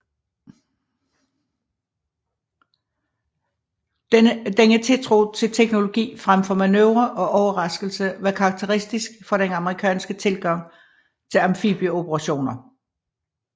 Denne tiltro til teknologi frem for manøvre og overraskelse var karakteristisk for den amerikanske tilgang til amfibieoperationer